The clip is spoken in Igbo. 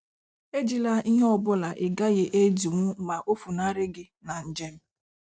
Ejila ihe ọ bụla ị gaghị edinwu ma o funarị gị na njem.